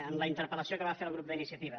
en la interpel·lació que va fer el grup d’iniciativa